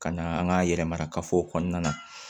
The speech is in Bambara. Ka na an ka yɛrɛmarakafo kɔnɔna na